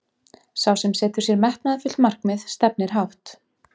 Sá sem setur sér metnaðarfullt markmið stefnir hátt.